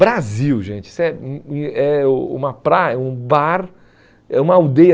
Brasil, gente, isso é o uma pra um bar, é uma aldeia.